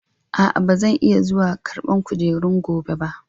A'a, ba zan iya zuwa ƙarban kujerun gobe ba.